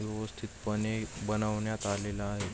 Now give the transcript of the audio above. व्यवस्थित पणे बनवण्यात आलेला आहे.